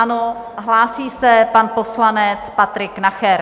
Ano, hlásí se pan poslanec Patrik Nacher.